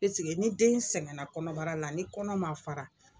ni den sɛgɛnna kɔnɔbara la ni kɔnɔ ma fara